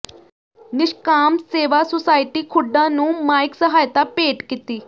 ਨਿਸ਼ਕਾਮ ਸੇਵਾ ਸੁਸਾਇਟੀ ਖੁੱਡਾ ਨੂੰ ਮਾਇਕ ਸਹਾਇਤਾ ਭੇਟ ਕੀਤੀ